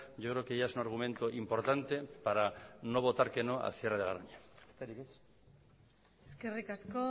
yo creo que ya es un argumento importante para no votar que no al cierre de garoña besterik ez eskerrik asko